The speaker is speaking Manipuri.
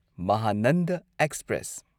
ꯃꯍꯥꯅꯟꯗ ꯑꯦꯛꯁꯄ꯭ꯔꯦꯁ